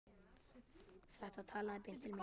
Þetta talaði beint til mín.